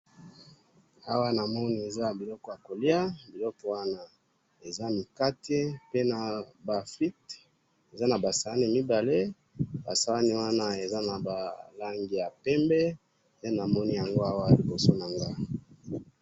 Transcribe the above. NA MONI BA SANI MIBALE LIBOSO NA NGAI EZA PEMBE NA BA MIKATE NA BA FRUITES LIKOLO NANGO.